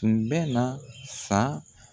Kun bɛ na san.